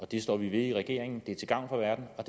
det står vi ved i regeringen det er til gavn for verden og